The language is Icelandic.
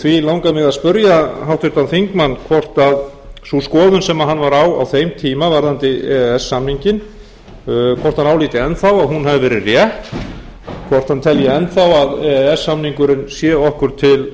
því langaði mig að spyrja háttvirtan þingmann hvort sú skoðun sem hann var á á þeim tala varðandi e e s samninginn hvort hann álíti enn þá að hún hafi verið rétt hvort hann telji enn þá að e e s samningurinn sé okkur til